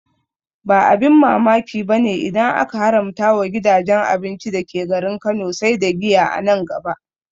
Ba abin mamaki bane idan aka haramta wa gidajen abinci dake garin Kano sai da giya a nan gaba